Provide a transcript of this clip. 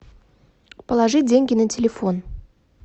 положить деньги на телефон